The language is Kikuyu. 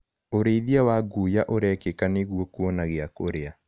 ũrĩithia wa nguya ũrekĩka nĩguo kuona giakũria.